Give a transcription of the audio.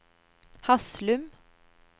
Haslum